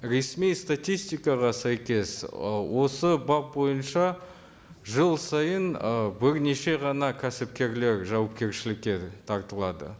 ресми статистикаға сәйкес ы осы бап бойынша жыл сайын ы бірнеше ғана кәсіпкерлер жауапкершілікке тартылады